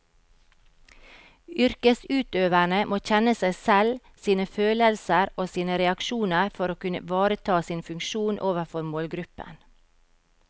Yrkesutøverne må kjenne seg selv, sine følelser og sine reaksjoner for å kunne ivareta sin funksjon overfor målgruppen.